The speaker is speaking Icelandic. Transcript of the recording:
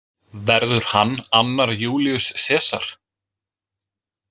Verður hann annar Júlíus Sesar?